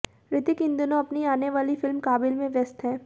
ऋतिक इन दिनों अपनी आने वाली फिल्म काबिल में व्यस्त है